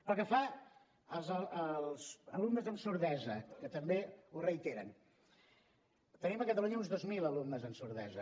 pel que fa als alumnes amb sordesa que també ho reiteren tenim a catalunya uns dos mil alumnes amb sordesa